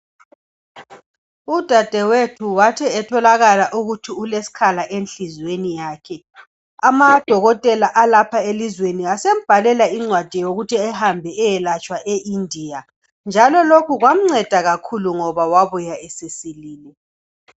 Udadewethu wathi etholakala ukuthi ulesikhala enhlizweni yakhe, amadokotela alapha elizweni asembhalela incwadi yokuthi ehambe ayelatshwa e lndia, njalo lokho kwamceda kakhulu ngoba wabuya sesilile.